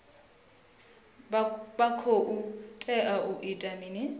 vha khou tea u ita mini